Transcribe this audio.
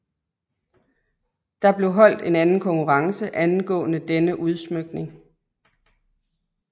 Der blev holdt en anden konkurrence angående denne udsmykning